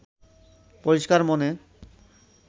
পরিষ্কার মনে